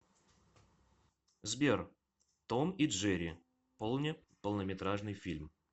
сбер том и джери полне полнометражный фильм